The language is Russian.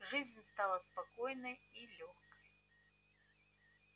жизнь стала спокойной и лёгкой